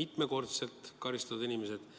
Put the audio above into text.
mitmekordselt karistatud inimesed.